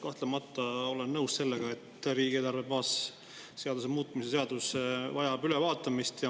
Kahtlemata olen nõus sellega, et riigieelarve baasseadus vajab ülevaatamist.